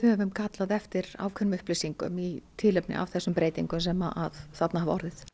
höfum kallað eftir ákveðnum upplýsingum í tilefni af þessum breytingum sem þarna hafa orðið